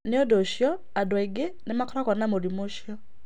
Nĩ ũndũ ũcio, andũ aingĩ nĩ makoragwo na mũrimũ ũcio.